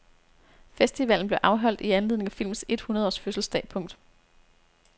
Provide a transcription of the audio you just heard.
Festivalen blev afholdt i anledning af filmens et hundrede års fødselsdag. punktum